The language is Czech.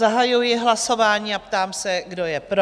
Zahajuji hlasování a ptám se, kdo je pro?